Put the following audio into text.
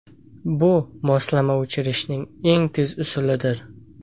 Bu moslamani o‘chirishning eng tez usulidir.